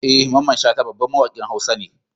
Eh Mamman shata babban mawakin hausa ne.